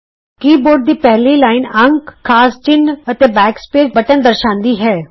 ਕੀ board ਦੀ ਪਹਿਲੀ line ਅੰਕ ਖਾਸ ਚਿੰਨ੍ਹ ਅਤੇ ਬੈਕ ਸਪੇਸ ਬਟਨ ਦਰਸਾਂਦੀ ਹੈ